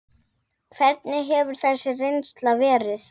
Hvernig hefur þessi reynsla verið?